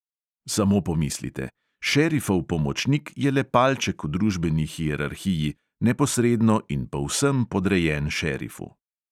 Samo pomislite: šerifov pomočnik je le palček v družbeni hierarhiji, neposredno in povsem podrejen šerifu.